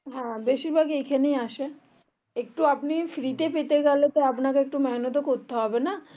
হ্যাঁ বেশির ভাগ এখানেই আসে একটু আপনি free তে পেতে গেলে তো মহানাৎ ও করতে হবে না